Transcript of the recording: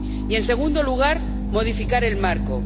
Y, en segundo lugar, modificar el marco.